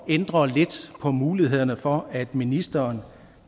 ændret lidt på mulighederne for ministeren